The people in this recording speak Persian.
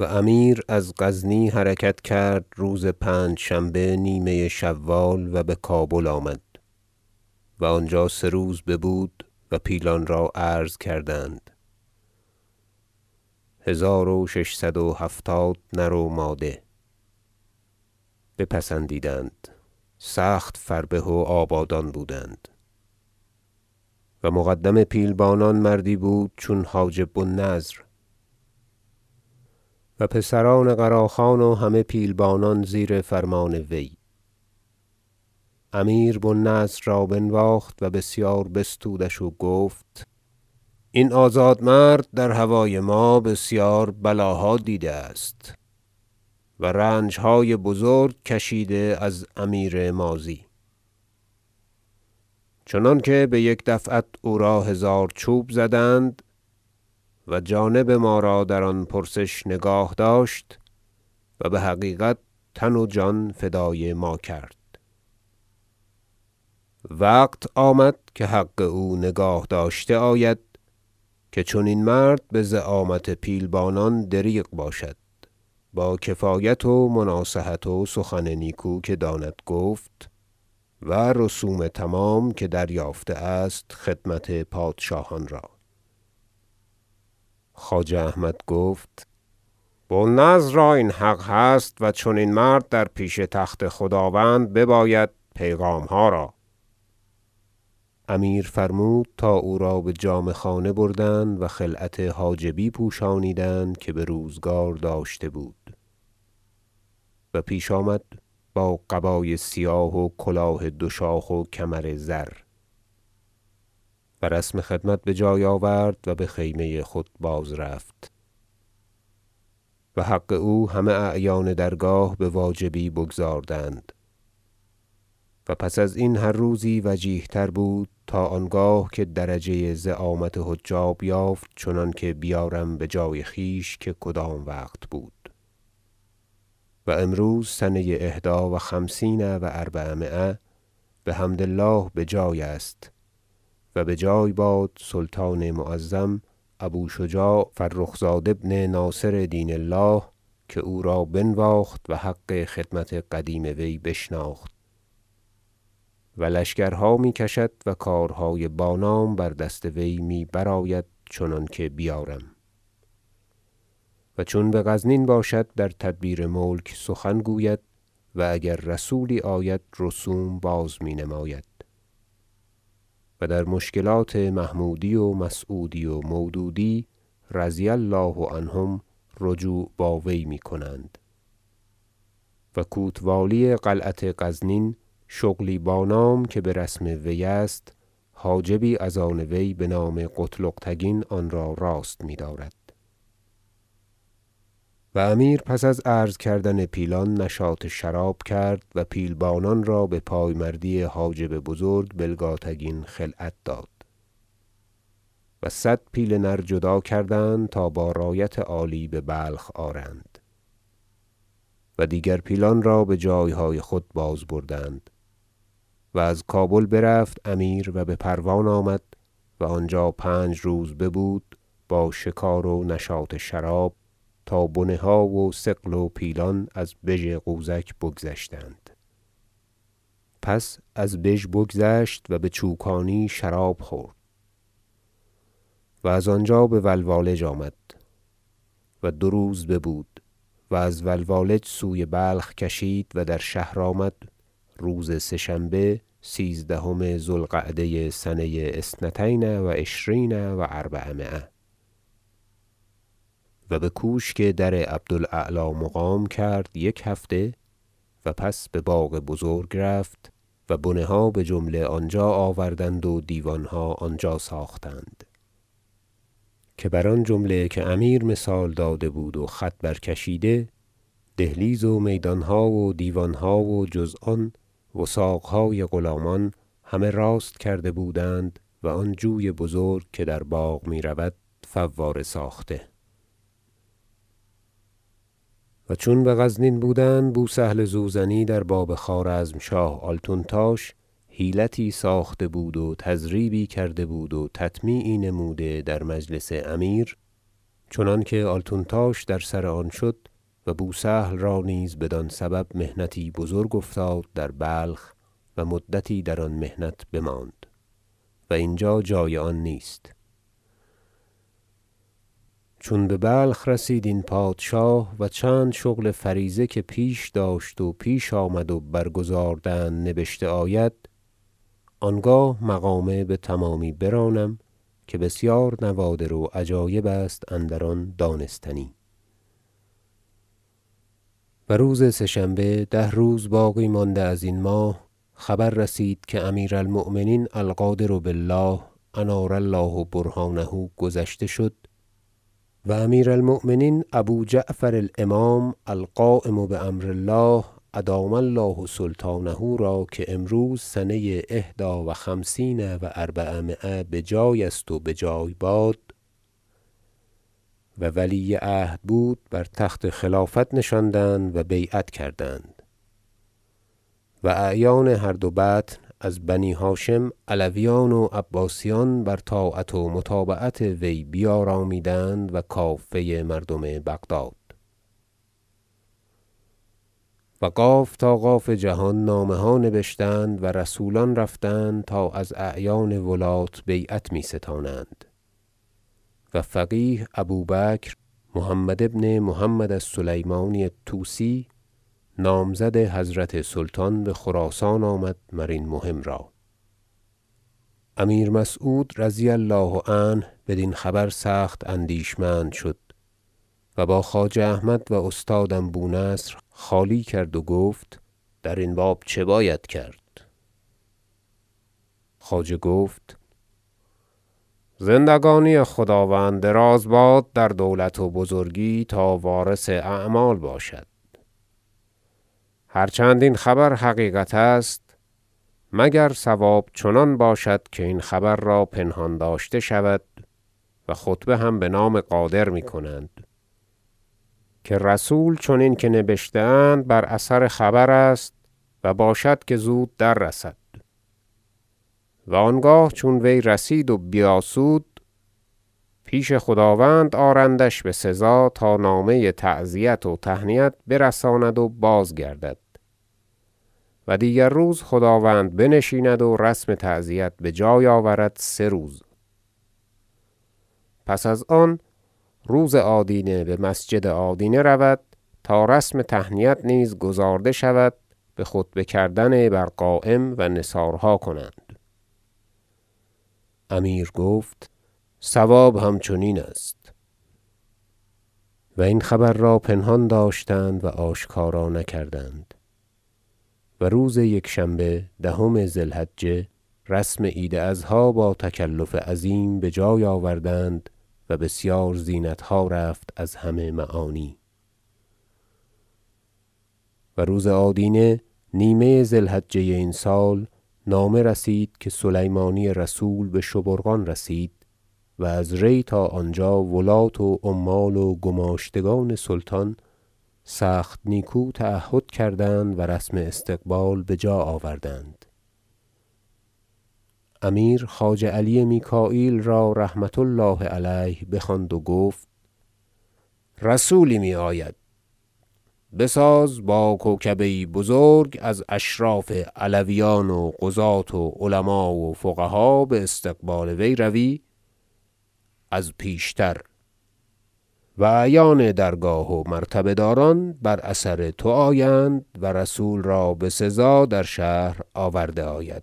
و امیر از غزنی حرکت کرد روز پنجشنبه نیمه شوال و بکابل آمد و آنجا سه روز ببود و پیلان را عرضه کردند هزار و ششصد و هفتاد نر و ماده بپسندید سخت فربه و آبادان بودند و مقدم پیلبانان مردی بود چون حاجب بو النضر و پسران قراخان و همه پیلبانان زیر فرمان وی امیر بو النضر را بنواخت و بسیار بستودش و گفت این آزاد مرد در هوای ما بسیار بلا دیده است و رنجهای بزرگ کشیده از امیر ماضی چنانکه بیک دفعت او را هزار چوب زدند و جانب ما را در آن پرسش نگاه داشت و بحقیقت تن و جان فدای ما کرد وقت آمد که حق او نگاه داشته آید که چنین مرد بزعامت پیلبانان دریغ باشد با کفایت و مناصحت و سخن نیکو که داند گفت و رسوم تمام که دریافته است خدمت پادشاهان را خواجه احمد گفت بو النضر را این حق هست و چنین مرد در پیش تخت خداوند بباید پیغامها را امیر فرمود تا او را بجامه خانه بردند و خلعت حاجبی پوشانیدند که بروزگار داشته بود و پیش آمد با قبای سیاه و کلاه دو شاخ و کمر زر و رسم خدمت بجای آورد و بخیمه خود باز رفت و حق او همه اعیان درگاه بواجبی بگزاردند و پس ازین هر روزی وجیه تر بود تا آنگاه که درجه زعامت حجاب یافت چنانکه بیارم بجای خویش که کدام وقت بود و امروز سنه احدی و خمسین و اربعمایه بحمد الله بجای است- و بجای باد سلطان معظم ابو شجاع فرخ زاد ابن ناصر دین الله که او را بنواخت و حق خدمت قدیم وی بشناخت- و لشکرها می کشد و کارهای با نام بر دست وی می برآید چنانکه بیارم و چون بغزنین باشد در تدبیر ملک سخن گوید و اگر رسولی آید رسوم بازمی نماید و در مشکلات محمودی و مسعودی و مودودی رضی الله عنهم رجوع با وی می کنند و کوتوالی قلعت غزنین شغلی با نام که برسم وی است حاجبی از آن وی بنام قتلغ تگین آن را راست می دارد و امیر پس از عرض کردن پیلان نشاط شراب کرد و پیلبانان را بپایمردی حاجب بزرگ بلگاتگین خلعت داد و صد پیل نر جدا کردند تا با رایت عالی ببلخ آرند و دیگر پیلان را بجایهای خود بازبردند و از کابل برفت امیر و بپروان آمد و آنجا پنج روز ببود با شکار و نشاط شراب تا بنه ها و ثقل و پیلان از بژ غوزک بگذشتند پس از بژ بگذشت و بچوکانی شراب خورد و از آنجا بولوالج آمد و دو روز ببود و از ولوالج سوی بلخ کشید و در شهر آمد روز سه شنبه سیزدهم ذو القعده سنه اثنتین و عشرین و اربعمایه و بکوشک در عبد الاعلی مقام کرد یک هفته و پس بباغ بزرگ رفت و بنه ها بجمله آنجا آوردند و دیوانها آنجا ساختند که بر آن جمله که امیر مثال داده بود و خط برکشیده دهلیز و میدانها و دیوانها و جز آن وثاقهای غلامان همه راست کرده بودند و آن جوی بزرگ که در باغ میرود فواره ساخته و چون بغزنین بودند بوسهل زوزنی در باب خوارزمشاه آلتونتاش حیلتی ساخته بود و تضریبی کرده بود و تطمیعی نموده در مجلس امیر چنانکه آلتونتاش در سر آن شد و بوسهل را نیز بدین سبب محنتی بزرگ افتاد در بلخ و مدتی در آن محنت بماند و اینجا جای آن نیست چون ببلخ رسید این پادشاه و چند شغل فریضه که پیش داشت و پیش آمد و برگزاردند نبشته آید آنگاه مقامه بتمامی برانم که بسیار نوادر و عجایب است اندر آن دانستنی در گذشت خلیفه القادر بالله و روز سه شنبه ده روز باقی مانده ازین ماه خبر رسید که امیر المؤمنین القادر بالله انار الله برهانه گذشته شد و امیر المؤمنین ابو جعفر الامام القایم بامر الله ادام الله سلطانه را که امروز سنه إحدی و خمسین و اربعمایه بجای است و بجای باد و ولی عهد بود بر تخت خلافت نشاندند و بیعت کردند و اعیان هر دو بطن از بنی هاشم علویان و عباسیان بر طاعت و متابعت وی بیارامیدند و کافه مردم بغداد و قاف تا قاف جهان نامه ها نبشتند و رسولان رفتند تا از اعیان ولات بیعت می ستانند و فقیه ابو بکر محمد بن محمد السلیمانی الطوسی نامزد حضرت سلطان بخراسان آمد مرین مهم را امیر مسعود رضی الله عنه بدین خبر سخت اندیشمند شد و با خواجه احمد و استادم بونصر خالی کرد و گفت در این باب چه باید کرد خواجه گفت زندگانی خداوند دراز باد در دولت و بزرگی تا وارث اعمال باشد هر چند این خبر حقیقت است مگر صواب چنان باشد که این خبر را پنهان داشته شود و خطبه هم بنام قادر میکنند که رسول چنین که نبشته اند بر اثر خبر است و باشد که زود در رسد و آنگاه چون وی رسید و بیاسود پیش خداوند آرندش بسزا تا نامه تعزیت و تهنیت برساند و بازگردد و دیگر روز خداوند بنشیند و رسم تعزیت بجای آورد سه روز پس از آن روز آدینه بمسجد آدینه رود تا رسم تهنیت نیز گزارده شود بخطبه کردن بر قایم و نثارها کنند امیر گفت صواب همین است و این خبر را پنهان داشتند و آشکارا نکردند و روز یک شنبه دهم ذی الحجه رسم عید اضحی با تکلف عظیم بجای آوردند و بسیار زینتها رفت از همه معانی و روز آدینه نیمه ذی الحجه این سال نامه رسید که سلیمانی رسول بشبورقان رسید و از ری تا آنجا ولات و عمال و گماشتگان سلطان سخت نیکو تعهد کردند و رسم استقبال را بجا آوردند امیر خواجه علی میکاییل را رحمة الله علیه بخواند و گفت رسولی می آید بساز تا با کوکبه یی بزرگ از اشراف علویان و قضاة و علما و فقها باستقبال روی از پیشتر و اعیان درگاه و مرتبه داران بر اثر تو آیند و رسول را بسزا در شهر آورده آید